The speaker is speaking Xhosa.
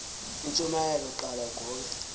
intshumayelo qala ugobe